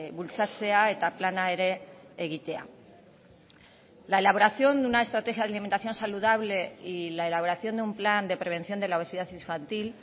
bultzatzea eta plana ere egitea la elaboración de una estrategia de alimentación saludable y la elaboración de un plan de prevención de la obesidad infantil